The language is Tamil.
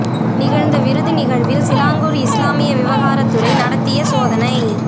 நிகழ்ந்த விருந்து நிகழ்வில் சிலாங்கூர் இஸ்லாமிய விவகாரத் துறை நடத்திய சோதனை